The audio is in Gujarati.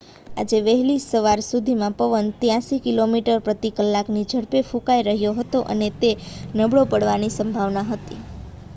આજે વહેલી સવાર સુધીમાં પવન 83 કિમી પ્રતિ કલાકની ઝડપે ફૂંકાઈ રહ્યો હતો અને તે નબળો પડવાની સંભાવના હતી